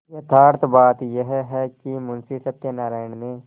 यथार्थ बात यह है कि मुंशी सत्यनाराण ने